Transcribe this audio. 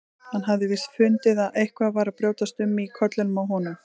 Hann hafði víst fundið að eitthvað var að brjótast um í kollinum á henni.